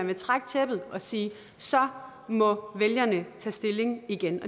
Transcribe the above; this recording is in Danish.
vil trække tæppet og sige så må vælgerne tage stilling igen